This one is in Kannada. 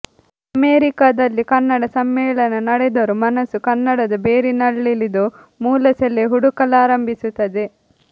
ಅಮೆರಿಕದಲ್ಲಿ ಕನ್ನಡ ಸಮ್ಮೇಳನ ನಡೆದರೂ ಮನಸ್ಸು ಕನ್ನಡದ ಬೇರಿನಲ್ಲಿಳಿದು ಮೂಲಸೆಲೆ ಹುಡುಕಲಾರಂಭಿಸುತ್ತದೆ